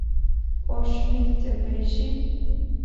о шмидте поищи